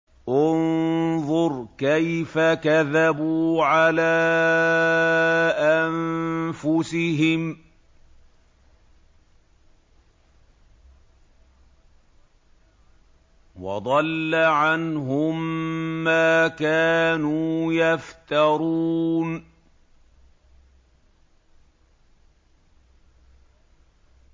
انظُرْ كَيْفَ كَذَبُوا عَلَىٰ أَنفُسِهِمْ ۚ وَضَلَّ عَنْهُم مَّا كَانُوا يَفْتَرُونَ